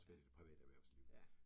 Ja, ja